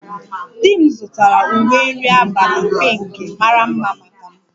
Di m zụtara uwe nri abalị pinkị mara mma maka m